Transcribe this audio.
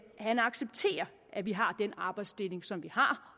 han accepterer at vi har den arbejdsdeling som vi har